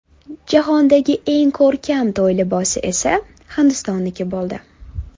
Jahondagi eng ko‘rkam to‘y libosi esa Hindistonniki bo‘ldi.